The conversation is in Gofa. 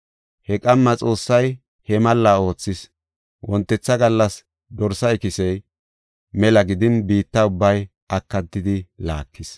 He qamma Xoossay he malla oothis. Wontetha gallas dorsa ikisey mela gidin biitta ubbay akatidi laakis.